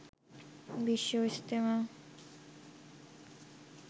Bishwa Ijtema